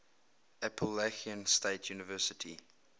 appalachian state university